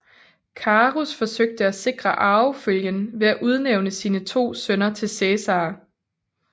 Carus forsøgte at sikre arvefølgen ved at udnævne sine to sønner til Cæsar